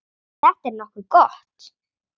Þetta er nokkuð gott.